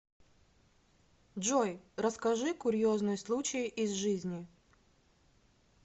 джой расскажи курьезный случай из жизни